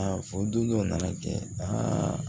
Aa fɔ don dɔ na na kɛ aa